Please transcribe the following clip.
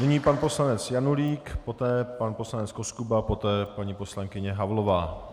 Nyní pan poslanec Janulík, poté pan poslanec Koskuba, poté paní poslankyně Havlová.